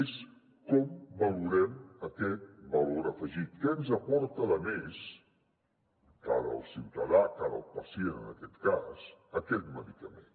és com valorem aquest valor afegit què ens aporta de més cara al ciutadà cara al pacient en aquest cas aquest medicament